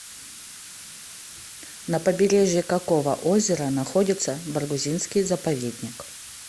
на побережье какого озера находится баргузинский заповедник